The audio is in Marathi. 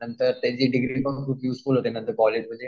नंतर त्याची डिग्रीपण खूप युज होते कॉलेजमध्ये.